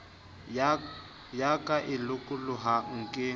ya ka e lokolohang ke